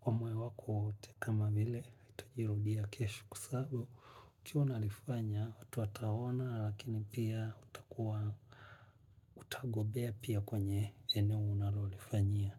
kwa moyo wako wote kama bile itajirudia keshu kusabu kia unalifanya watu atahona lakini pia utakuwa utagobea pia kwenye ene unalolifanya.